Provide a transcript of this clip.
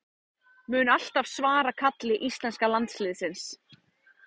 Mun alltaf svara kalli íslenska landsliðsins